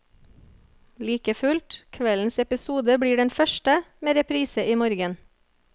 Likefullt, kveldens episode blir den første, med reprise i morgen.